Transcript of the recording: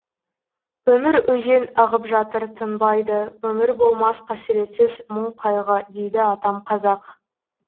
өмір өзен ағып жатыр тынбайды өмір болмас қасіретсіз мұң қайғы дейді атам қазақ